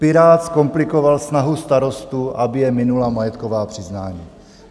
Pirát zkomplikoval snahu starostů, aby je minula majetková přiznání.